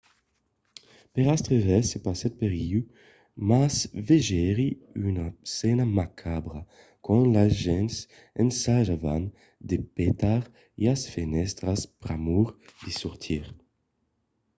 per astre res se passèt per ieu mas vegèri una scèna macabra quand las gents ensajavan de petar las fenèstras pr'amor de sortir